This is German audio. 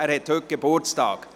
Er hat heute Geburtstag.